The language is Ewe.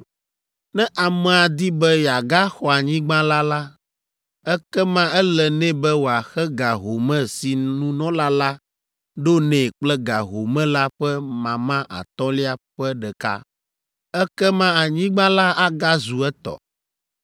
Ne amea di be yeagaxɔ anyigba la la, ekema ele nɛ be wòaxe ga home si nunɔla la ɖo nɛ kple ga home la ƒe mama atɔ̃lia ƒe ɖeka. Ekema anyigba la agazu etɔ.